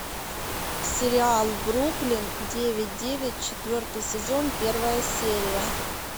сериал бруклин девять девять четвертый сезон первая серия